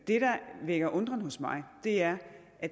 det der vækker undren hos mig er